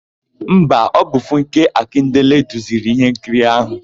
Mba, ọ bụ Funke Akindele duziri íhénkiri áhụ̀.